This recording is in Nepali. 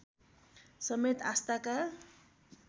समेत आस्थाका